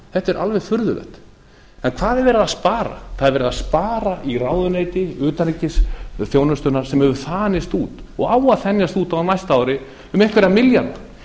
þetta er alveg furðulegt en hvað er verið að spara það er verið að spara í ráðuneyti utanríkisþjónustuna sem hefur þanist út og á að þenjast út á næsta ári um einhverja milljarða